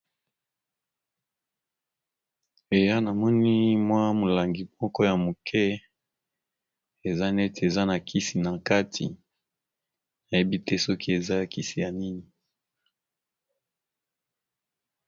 Eya namoni mwa molangi moko ya moke eza neti eza na kisi na kati nayebi te soki eza kisi ya nini.